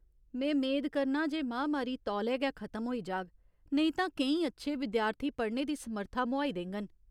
में मेद करनां जे महामारी तौले गै खतम होई जाह्ग, नेईं तां केईं अच्छे विद्यार्थी पढ़ने दी समर्था मोहाई देङन।